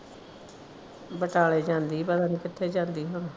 ਬਟਾਲੇ ਜਾਂਦੀ ਭਲਾ ਪਤਾ ਨਹੀ ਕਿੱਥੇ ਜਾਂਦੀ ਹੁਣ।